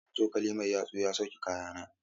Motar cokali mai yatsu ya sauke kayana.